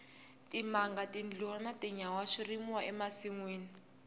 timanga tindluwa na tinyawa swi rimiwa e masinwini